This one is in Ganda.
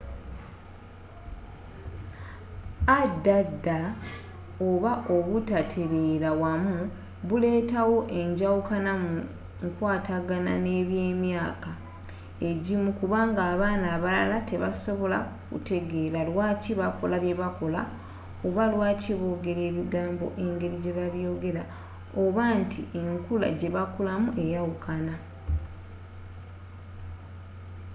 add oba obutateleera wamu buleeta wo enjawukana mu nkwatagana n'abemyaaka egimu kubanga abaana abalala tebasobola kutegeela lwaaki bakola byebakola oba lwaaki bogera ebigambo engeri jebabyogera oba nti enkula jebakulamu eyawukana